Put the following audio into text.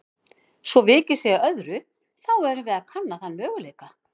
Svo vikið sé að öðru, þá erum við að kanna þann mögu